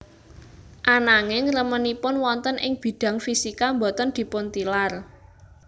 Ananging remenipun wonten ing bidang fisika boten dipuntilar